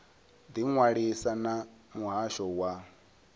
ḓi ṅwalisa na muhasho wa